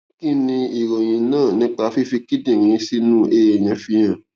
kí ni ìròyìn náà nípa fífi kíndìnrín sínú èèyàn fihan